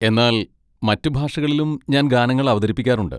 എന്നാൽ മറ്റ് ഭാഷകളിലും ഞാൻ ഗാനങ്ങൾ അവതരിപ്പിക്കാറുണ്ട്.